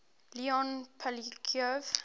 leon poliakov